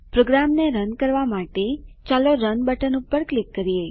પ્રોગ્રામને રન કરવાં માટે ચાલો રન બટન પર ક્લિક કરીએ